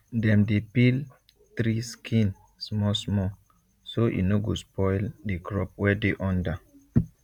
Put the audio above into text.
dem dey peel tree skin small small so e no go spoil the crop wey dey under